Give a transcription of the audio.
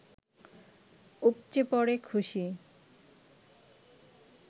উপচে পড়ে খুশি